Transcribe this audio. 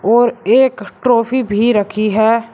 और एक ट्रॉफी भी रखी है।